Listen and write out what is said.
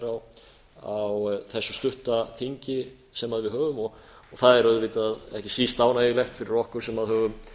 þess hér á þessu stutta þingi sem við höfum það er auðvitað ekki síst ánægjulegt fyrir okkur sem höfum